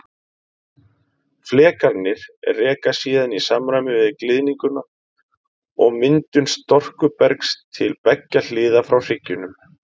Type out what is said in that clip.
Flekarnir reka síðan í samræmi við gliðnunina og myndun storkubergs til beggja hliða frá hryggjunum.